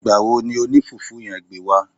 Ìgbà wo ni oní fùfú yen gbé wá